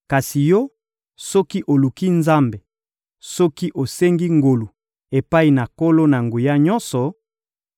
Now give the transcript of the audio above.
Kasi yo, soki oluki Nzambe, soki osengi ngolu epai na Nkolo-Na-Nguya-Nyonso,